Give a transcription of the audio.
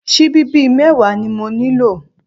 Síbí bíi mẹ́wàá ni mo nílò?